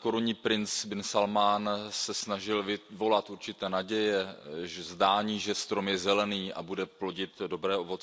Korunní princ bin Salmán se snažil vyvolat určité naděje, zdání, že strom je zelený a bude plodit dobré ovoce.